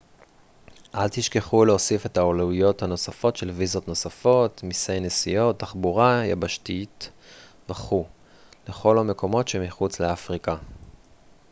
אל תשכחו להוסיף את העלויות הנוספות של ויזות נוספות מסי נסיעות תחבורה יבשתית וכו' לכל המקומות שמחוץ לאפריקה